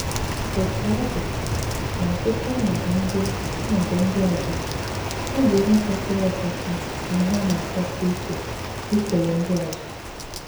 Òtú ọ dị, n'ọ̀tụ̀tù ọnọdụ ndị ọnọdụ ndị ọzọ, ọ bụ̀ ihe kwesìrì ekwesì na ihe na-àchọsì ìkè ìkèlè ndị ọzọ.